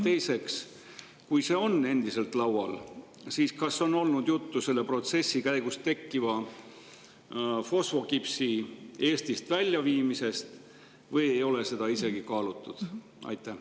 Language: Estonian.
Teiseks: kui see on endiselt laual, siis kas on olnud juttu selle protsessi käigus tekkiva fosfokipsi Eestist väljaviimisest või ei ole seda isegi kaalutud?